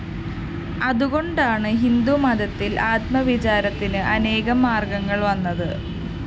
അതുകൊണ്ടാണ് ഹിന്ദുമതത്തില്‍ ആത്മവിചാരത്തിന് അനേകം മാര്‍ഗ്ഗങ്ങള്‍ വന്നത്